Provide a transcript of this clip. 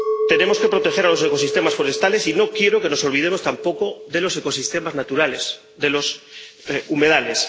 Tenemos que proteger los ecosistemas forestales, y no quiero que nos olvidemos tampoco de los ecosistemas naturales, de los humedales.